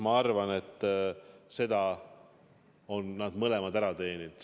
Ma arvan, et selle on nad mõlemad ära teeninud.